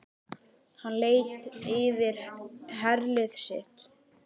Hann leit yfir herlið sitt.